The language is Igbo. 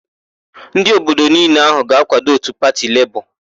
Ndị obodo niile ahụ ga-akwado òtù pati Lebọọ.